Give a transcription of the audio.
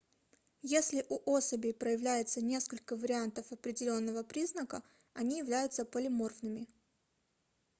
если у особей проявляется несколько вариантов определенного признака они являются полиморфными